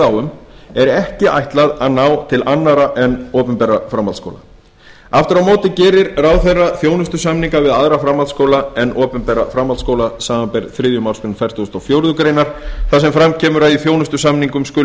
á um er ekki ætlað að ná til annarra en opinberra framhaldsskóla aftur á móti gerir ráðherra þjónustusamninga við aðra framhaldsskóla en opinbera framhaldsskóla samanber þriðju málsgrein fertugustu og fjórðu grein þar sem fram kemur að í þjónustusamningum skuli